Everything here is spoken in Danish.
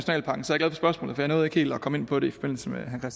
jeg nåede ikke helt at komme ind på det i forbindelse med herre